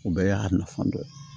O bɛɛ y'a nafan dɔ ye